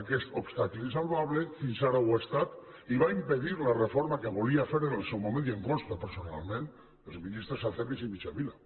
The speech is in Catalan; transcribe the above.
aquest obstacle insalvable fins ara ho ha estat i va impedir la reforma que volien fer en el seu moment i em consta personalment els ministres acebes i mitjavila